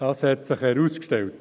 Das hat sich herausgestellt.